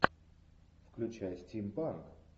включай стимпанк